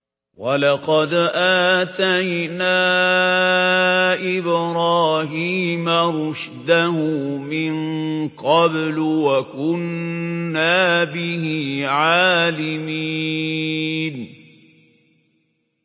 ۞ وَلَقَدْ آتَيْنَا إِبْرَاهِيمَ رُشْدَهُ مِن قَبْلُ وَكُنَّا بِهِ عَالِمِينَ